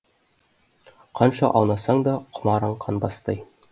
қанша аунасаң да құмарың қанбастай